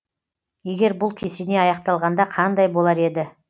егер бұл кесене аяқталғанда қандай болар еді